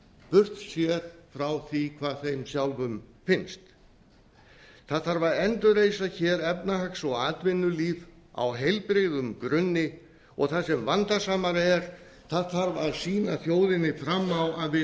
burt séð frá því hvað þeim sjálfum finnst það þarf að endurreisa efnahags og atvinnulíf á heilbrigðum grunni og það sem vandasamara er það þarf að sýna þjóðinni fram á að við